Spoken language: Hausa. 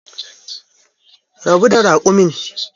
Rabu da raƙumin